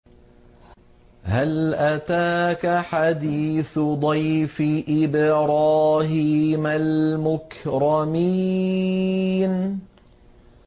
هَلْ أَتَاكَ حَدِيثُ ضَيْفِ إِبْرَاهِيمَ الْمُكْرَمِينَ